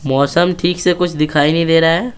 मौसम ठीक से कुछ दिखाई नहीं दे रहा है।